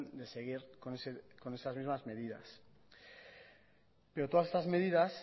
de seguir con esas mismas medidas pero todas estas medidas